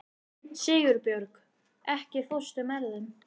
Sigurbjörg, ekki fórstu með þeim?